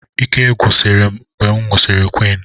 Ike gwusiri m mgbe m nwụsịrị quinn